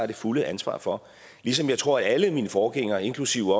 det fulde ansvar for ligesom jeg tror at alle mine forgængere inklusive